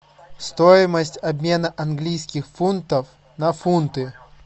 стоимость обмена английских фунтов на фунты